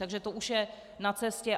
Takže to už je na cestě.